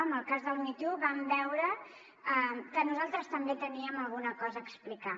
en el cas del me too vam veure que nosaltres també teníem alguna cosa a explicar